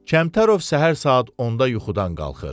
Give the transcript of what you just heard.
Kəmtərov səhər saat 10-da yuxudan qalxır.